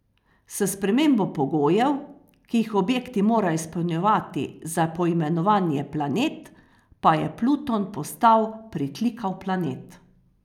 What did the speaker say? S spremembo pogojev, ki jih objekti morajo izpolnjevati za poimenovanje planet, pa je Pluton postal pritlikav planet.